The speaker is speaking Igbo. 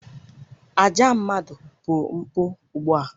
Àjà mmadụ bụ mpụ ugbu a